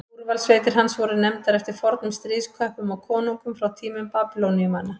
úrvalssveitir hans voru nefndar eftir fornum stríðsköppum og konungum frá tímum babýloníumanna